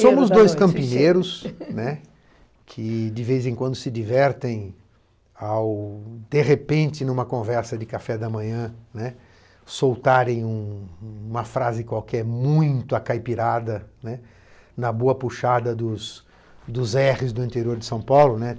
Somos dois campineiros, né, que, de vez em quando, se divertem ao, de repente, numa conversa de café da manhã, né, soltarem um uma frase qualquer muito acaipirada, né, na boa puxada dos, dos erres do interior de São Paulo, né.